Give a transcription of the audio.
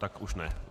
Tak už ne.